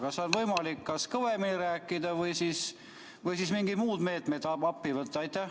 Kas on võimalik kõvemini rääkida või siis mingid muud meetmed appi võtta?